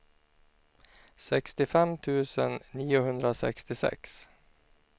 sextiofem tusen niohundrasextiosex